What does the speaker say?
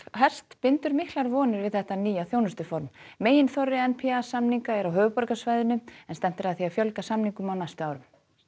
bindur miklar vonir við þetta nýja þjónustuform meginþorri n p a samninga er á höfuðborgarsvæðinu en stefnt er að því að fjölg a samningum á næstu árum